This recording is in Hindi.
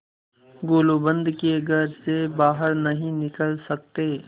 गुलूबंद के घर से बाहर नहीं निकल सकते